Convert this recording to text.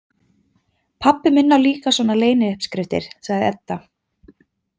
Pabbi minn á líka svona leyniuppskriftir, sagði Edda.